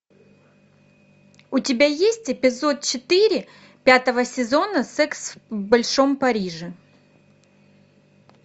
у тебя есть эпизод четыре пятого сезона секс в большом париже